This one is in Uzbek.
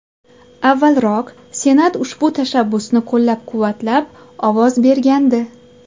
Avvalroq Senat ushbu tashabbusni qo‘llab-quvvatlab ovoz bergandi.